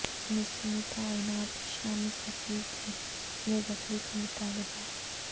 مصر میں تعینات شامی سفیر کی بےدخلی کا مطالبہ